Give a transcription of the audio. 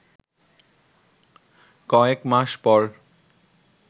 কয়েক মাস পর